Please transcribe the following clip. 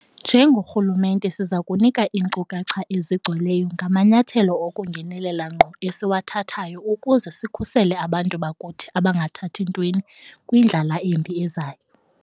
Njengorhulumente siza kunika iinkcukacha ezigcweleyo ngamanyathelo okungenelela ngqo esiwathathayo ukuze sikhusele abantu bakuthi abangathathi ntweni kwindlala embi ezayo.